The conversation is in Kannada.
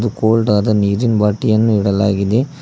ಒಂದು ಕೋಲ್ಡ್ ಆದ ನೀರಿನ್ ಬಾಟಲಿಯನ್ನು ಇಡಲಾಗಿದೆ.